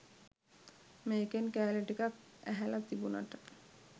මේකෙන් කෑලි ටිකක් ඇහල තිබුනට